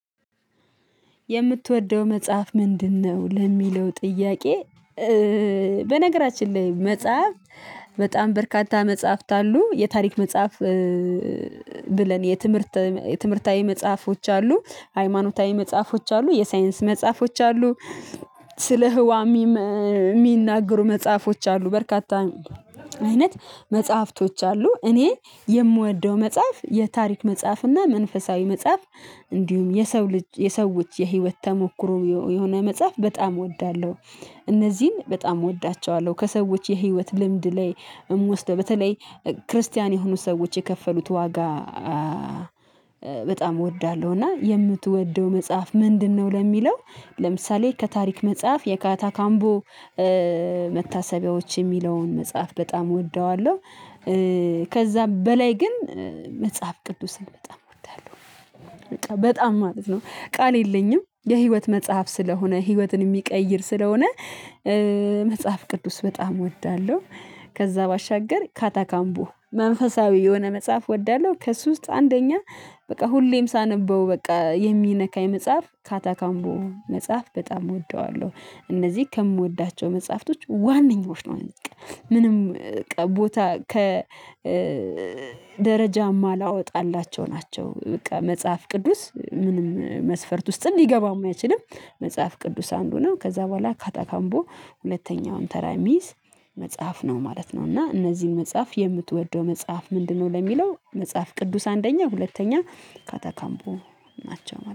የምትወደው መጽሐፍ ምንድነው? ለሚለው ጥያቄ በነገራችን ላይ መጽሐፍ በጣም በርካታ መጽሐፍት አሉ። የታሪክ መጽሐፍ ብለን የትምህርታዊ መጽሐፎች አሉ ሃይማኖታዊ መጽሐፎች አሉ የሳይንስ መጽሐፎች አሉ። ስለ ህዋም የሚናገሩ መጽሐፎች አሉ በርካታ አይነት መጽሐፍቶች አሉ። እኔ የምወደው መጽሐፍ የታሪክ መጽሐፍ እና መንፈሳዊ መጽሐፍ እንዲሁም የሰው ልጅ የሰዎች የህይወት ተሞክሮ የሆነ መጽሐፍ በጣም እወዳለሁ። እነዚህን በጣም እወዳቸዋለሁ። ከሰዎች የህይወት ልምድ ላይ እምወስደው በተለይ ክርስቲያን የሆኑ ሰዎች የከፈሉት ዋጋ በጣም እወዳለሁ እና የምትወደው መጽሐፍ ምንድነው ለሚለው ለምሳሌ ከታሪክ መጽሐፍ የካታ ካምቦ መታሰቢያዎች የሚለውን መጽሐፍ በጣም እወደዋለሁ። ከዛ በላይ ግን መጽሐፍ ቅዱስን በጣም እወዳለሁ። በጣም ማለት ነው ቃል የለኝም የህይወት መጽሐፍ ስለሆነ ህይወትን የሚቀይር ስለሆነ። መጽሐፍ ቅዱስ በጣም እወዳለሁ። ከዛ ባሻገር ካታካምቦ መንፈሳዊ የሆነ መጽሐፍ እወዳለሁ ከሱ ውስጥ አንደኛ በቃ ሁሌም ሳነበው በቃ የሚነካኝ መጽሐፍ ካታካምቦ መጽሐፍ በጣም እወደዋለሁ። እነዚህ ከምወዳቸው መጽሐፍቶች ዋነኞች ነው። እዚህ ቀን ምንም ቦታ ከ ደረጃማ ማላወጣላቸው ናቸው። በቃ መጽሐፍ ቅዱስ ምንም መስፈርት ውስጥም ሊገባም አይችልም። መጽሐፍ ቅዱስ አንዱ ነው ከዛ በኋላ ካታካምቦ ሁለተኛውን ተራ ሚይዝ መጽሐፍ ነው ማለት ነው ፈ እና እነዚህን መጽሐፍ የምትወደው መጽሐፍ ምንድነው ለሚለው? መጽሐፍ ቅዱስ አንደኛ ሁለተኛ ካታካምቦ ናቸው።